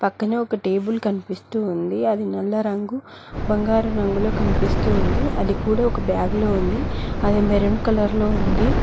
పక్కనే ఒక టేబుల్ కనిపిస్తూ ఉంది అది నల్ల రంగు బంగారు రంగులు కనిపిస్తోంది అది కూడా ఒక బ్యాగ్ లో ఉంది అది మెరూన్ కలర్ లో ఉంది.